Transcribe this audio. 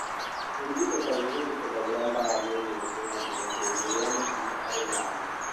Kũrigitwo kaingĩ gũtihũthagĩra ndawa mĩeri ĩthatũ ya mbere ya hĩndĩ ĩrĩa mũtumia arĩ na nda.